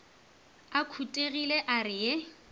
a khutilego a re ye